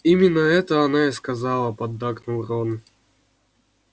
именно это она и сказала поддакнул рон